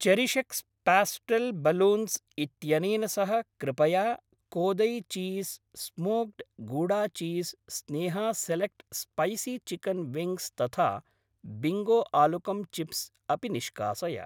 चेरिशेक्स् pastel balloons इत्यनेन सह कृपया Kodai cheese smoked gouda cheese, Sneha select spicy chicken wings तथा बिङ्गो आलुकम् चिप्स् अपि निष्कासय।